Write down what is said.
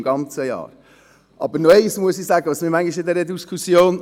Noch etwas stört mich an dieser Diskussion.